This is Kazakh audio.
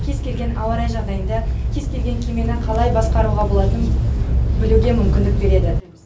кез келген ауа райы жағдайында кез келген кемені қалай басқаруға болатынын білуге мүмкіндік береді